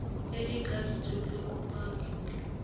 e e tladitsweng le bopaki